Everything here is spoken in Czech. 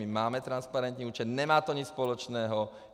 My máme transparentní účet, nemá to nic společného.